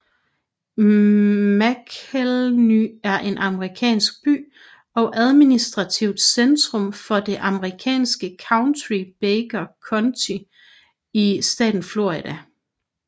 Macclenny er en amerikansk by og administrativt centrum for det amerikanske county Baker County i staten Florida